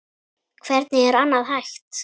Hvernig er annað hægt?